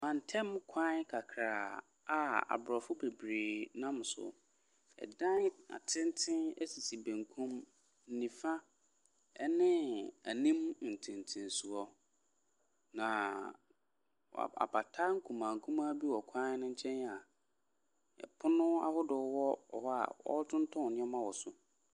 Mantam kwan kakra a Abrɔfo bebree nam so. Ɛdan atenten sisi benkum, nifa ne anim ntentensoɔ. Na apata nkumaa nkumaa bi wɔ kwan no nkyɛn a pono ahodoɔ wɔ a wɔtotɔn nneɛma wɔ so.